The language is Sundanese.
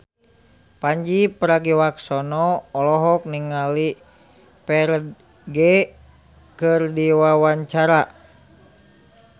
Pandji Pragiwaksono olohok ningali Ferdge keur diwawancara